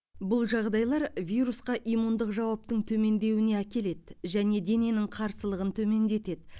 бұл жағдайлар вирусқа иммундық жауаптың төмендеуіне әкеледі және дененің қарсылығын төмендетеді